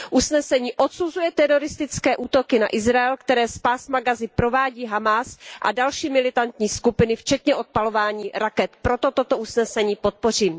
Usnesení odsuzuje teroristické útoky na Izrael, které z Pásma Gazy provádí Hamás a další militantní skupiny, včetně odpalování raket, proto toto usnesení podpořím.